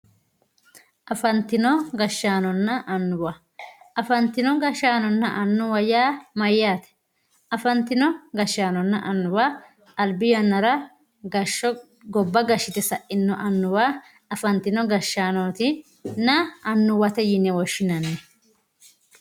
afantino gashshanona anuwa afantino gashshanona anuwa yaa maayate afantino gashshanona anuwa albi yanara gashsho gobba gashshite saino anuwa afantino gashshanotinna anuwate yine woshinanni